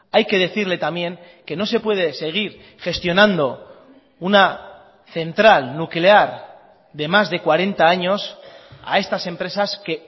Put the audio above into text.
hay que decirle también que no se puede seguir gestionando una central nuclear de más de cuarenta años a estas empresas que